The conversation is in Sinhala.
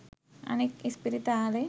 අනෙක් ඉස්පිරිතල